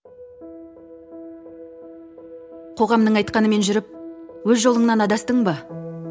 қоғамның айтқанымен жүріп өз жолыңнан адастың ба